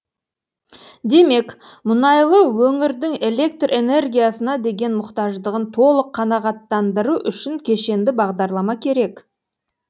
демек мұнайлы өңірдің электр энергиясына деген мұқтаждығын толық қанағаттандыру үшін кешенді бағдарлама керек